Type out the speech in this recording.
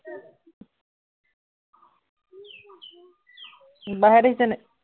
বাইহেঁত আহিছে নাই?